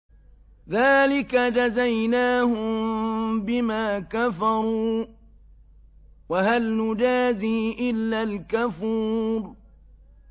ذَٰلِكَ جَزَيْنَاهُم بِمَا كَفَرُوا ۖ وَهَلْ نُجَازِي إِلَّا الْكَفُورَ